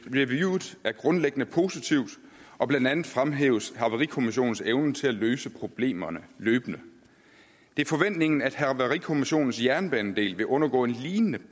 reviewet er grundlæggende positivt og blandt andet fremhæves havarikommissionens evne til at løse problemerne løbende det er forventningen at havarikommissionens jernbanedel vil undergå et lignende